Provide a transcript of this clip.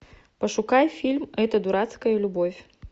пошукай фильм эта дурацкая любовь